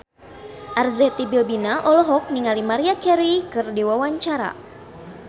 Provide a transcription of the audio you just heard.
Arzetti Bilbina olohok ningali Maria Carey keur diwawancara